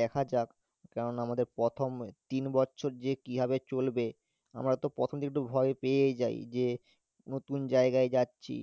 দেখা যাক কেননা আমাদের প্রথম তিন বছর যে কিভাবে চলবে? আমরা তো প্রথম দিকে একটু ভয় পেয়েই যাই যে নতুন জায়গায় যাচ্ছি